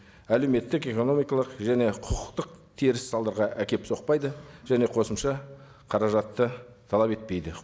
әлеуметтік экономикалық және құқықтық теріс салдарға әкеліп соқпайды және қосымша қаражатты талап етпейді